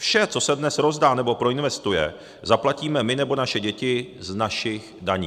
Vše, co se dnes rozdá nebo proinvestuje, zaplatíme my nebo naše děti z našich daní.